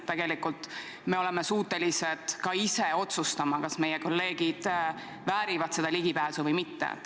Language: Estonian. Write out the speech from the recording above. Tegelikult me oleme suutelised ka ise otsustama, kas meie kolleegid väärivad seda ligipääsu või mitte.